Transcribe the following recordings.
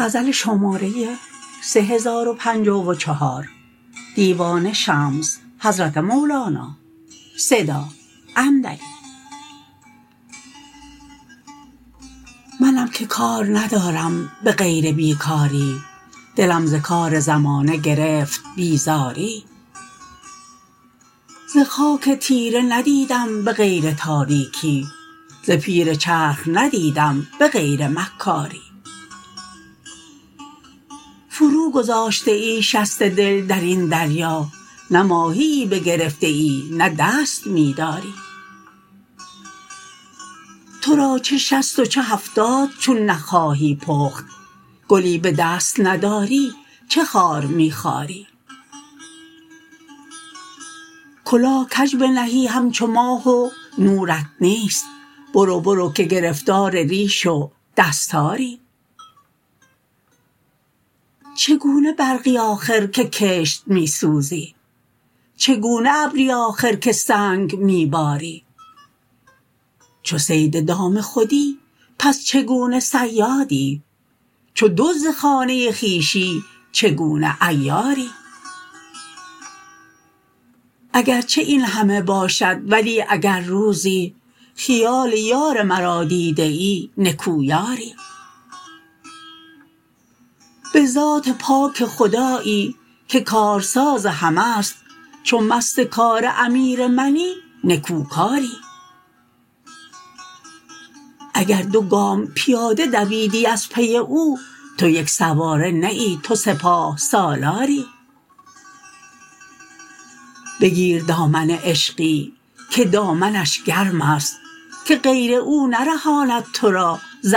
منم که کار ندارم به غیر بی کاری دلم ز کار زمانه گرفت بیزاری ز خاک تیره ندیدم به غیر تاریکی ز پیر چرخ ندیدم به غیر مکاری فروگذاشته ای شست دل در این دریا نه ماهیی بگرفتی نه دست می داری تو را چه شصت و چه هفتاد چون نخواهی پخت گلی به دست نداری چه خار می خاری کلاه کژ بنهی همچو ماه و نورت نیست برو برو که گرفتار ریش و دستاری چگونه برقی آخر که کشت می سوزی چگونه ابری آخر که سنگ می باری چو صید دام خودی پس چگونه صیادی چو دزد خانه خویشی چگونه عیاری اگر چه این همه باشد ولی اگر روزی خیال یار مرا دیده ای نکو یاری به ذات پاک خدایی که کارساز همه ست چو مست کار امیر منی نکوکاری اگر دو گام پیاده دویدی از پی او تو یک سواره نه ای تو سپاه سالاری بگیر دامن عشقی که دامنش گرمست که غیر او نرهاند تو را ز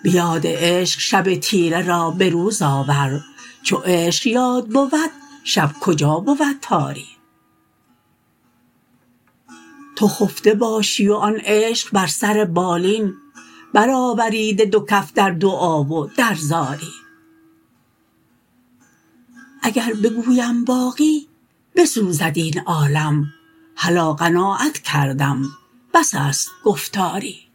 اغیاری به یاد عشق شب تیره را به روز آور چو عشق یاد بود شب کجا بود تاری تو خفته باشی و آن عشق بر سر بالین برآوریده دو کف در دعا و در زاری اگر بگویم باقی بسوزد این عالم هلا قناعت کردم بس است گفتاری